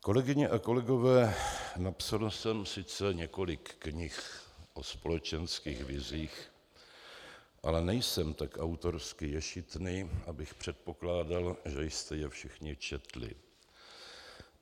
Kolegyně a kolegové, napsal jsem sice několik knih o společenských vizích, ale nejsem tak autorsky ješitný, abych předpokládal, že jste je všichni četli.